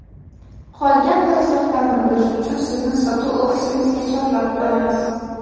Qolgan tafsilotlarni bilish uchun sizni sotuv ofisimizga chorlab qolamiz!.